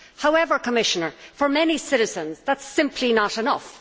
However, Commissioner, for many citizens, that is simply not enough.